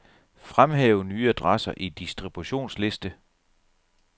Fremhæv nye adresser i distributionsliste.